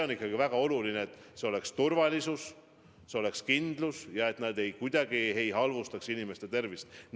On ikkagi väga oluline, et oleks turvalisus, oleks kindlus, et vaktsiin kuidagi ei halvendaks inimeste tervist.